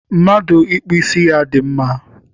Mmadụ ịkpụ ísí ya dị mma